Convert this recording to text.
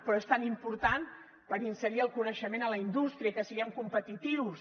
però és tan important per inserir el coneixement a la indústria i que siguem competitius